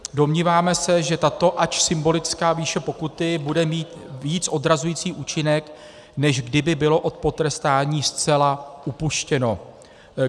Domníváme se, že tato ač symbolická výše pokuty bude mít víc odrazující účinek, než kdyby bylo od potrestání zcela upuštěno.